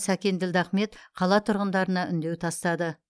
сәкен ділдахмет қала тұрғындарына үндеу тастады